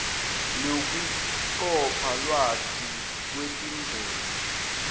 nekucopha lwati ngetindlela